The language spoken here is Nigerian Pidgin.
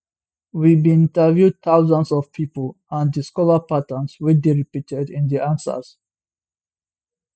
we bin interview thousands of pipo and discover patterns wey dey repeated in di answers